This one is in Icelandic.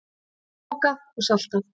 Mokað og saltað.